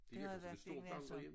Det har jeg virkelig ingen anelse om